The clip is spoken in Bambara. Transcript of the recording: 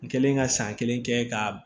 N kɛlen ka san kelen kɛ k'a